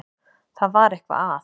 Það var eitthvað að.